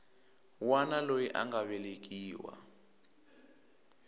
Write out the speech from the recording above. wana loyi a nga velekiwa